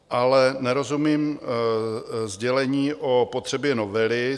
Ale nerozumím sdělení o potřebě novely.